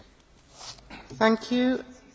Pani Przewodnicząca, Panie Komisarzu!